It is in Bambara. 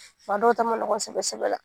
Fa dɔw ta ma nɔgɔn sɛbɛ sɛbɛ la.